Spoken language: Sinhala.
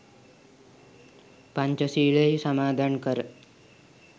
පංචශීලයෙහි සමාදන් කර